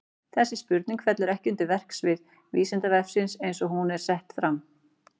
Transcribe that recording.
Þessi spurning fellur ekki undir verksvið Vísindavefsins eins og hún er fram sett.